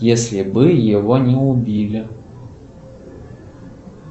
если бы его не убили